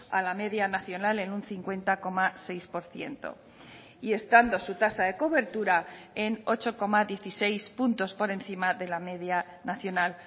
a la media nacional en un cincuenta coma seis por ciento y estando su tasa de cobertura en ocho coma dieciséis puntos por encima de la media nacional